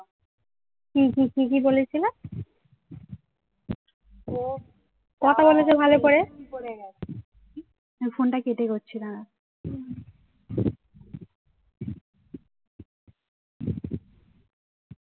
আমি ফোনটা কেটে করছি দাঁড়া